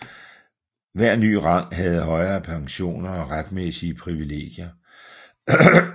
Hver ny rang havde højere pensioner og retsmæssige privilegier